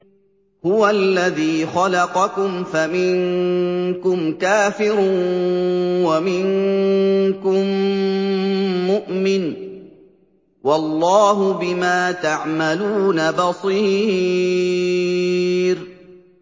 هُوَ الَّذِي خَلَقَكُمْ فَمِنكُمْ كَافِرٌ وَمِنكُم مُّؤْمِنٌ ۚ وَاللَّهُ بِمَا تَعْمَلُونَ بَصِيرٌ